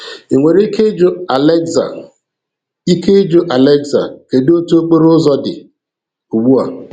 I nwere ike ịjụ "Alexa, ike ịjụ "Alexa, kedu otu okporo ụzọ dị? Ugbu a